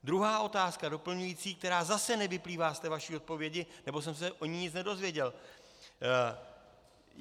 Druhá otázka doplňující, která zase nevyplývá z té vaší odpovědi, nebo jsem se o ní nic nedozvěděl.